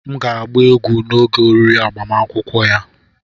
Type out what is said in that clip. M ga-agba egwu n'oge oriri agbamakwụkwọ ya.